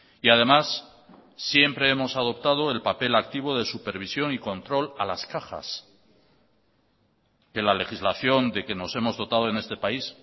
y además siempre hemos adoptado el papel activo de supervisión y control a las cajas que la legislación de que nos hemos dotado en este país